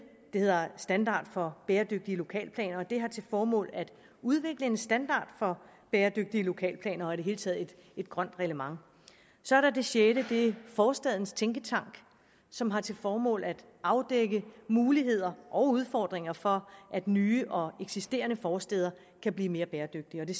hedder standard for bæredygtige lokalplaner og det har til formål at udvikle en standard for bæredygtige lokalplaner og i det hele taget et grønt reglement så er der det sjette det er forstadens tænketank som har til formål at afdække muligheder og udfordringer for at nye og eksisterende forstæder kan blive mere bæredygtige det